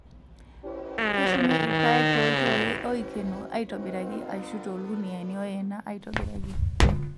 Keshumi irpaek tooltoi oikeno aitobiraki ashu torkuniyiani oyena aitobiraki.